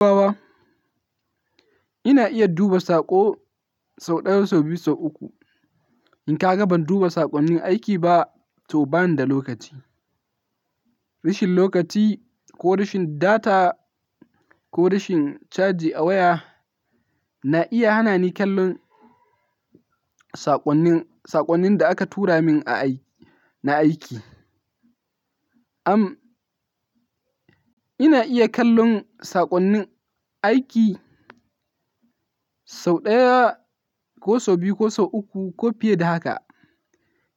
Baba, ina iya duba saƙo sau ɗaya, sau biyu, sau uku. In ka ga ban duba saƙonnin aiki ba, to bani da lokaci. Rashin lokaci ko rashin data ko rashin caji a waya na iya hana ni kallon saƙonnin, saƙonnin da aka tura min a aiki, na aiki. Am, ina iya kallon saƙonnin aiki sau ɗaya ko sau biyu ko sau uku ko fiye da haka.